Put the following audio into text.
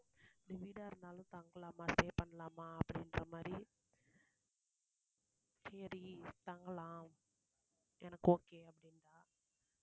timid ஆ இருந்தாலும் பாக்கலாமா stay பண்ணலாமா அப்படிங்குற மாதிரி, சரி தங்கலாம் எனக்கு okay அப்படீங்கறாள்.